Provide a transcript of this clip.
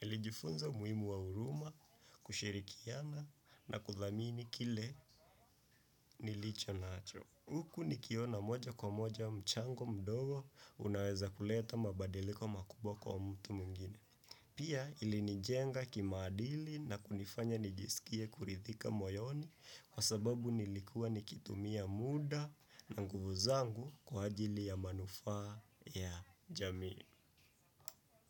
Nilijifunza umuhimu wa huruma, kushirikiana na kuthamini kile nilicho nacho. Huku nikiona moja kwa moja mchango mdogo unaweza kuleta mabadiliko makubwa kwa mtu mwingine. Pia ilinijenga kimaadili, na kunifanya nijiskie kuridhika moyoni. Kwa sababu nilikua natumia muda na nguvu zangu kwa manufaa ya jamii.